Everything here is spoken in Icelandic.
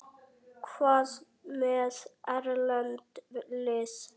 Hvað með erlend lið?